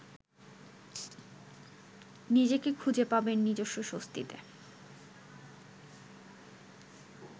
নিজেকে খুঁজে পাবেন নিজস্ব স্বস্তিতে।